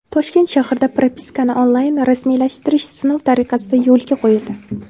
Toshkent shahrida propiskani onlayn rasmiylashtirish sinov tariqasida yo‘lga qo‘yildi.